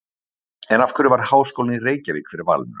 En af hverju varð Háskólinn í Reykjavík fyrir valinu?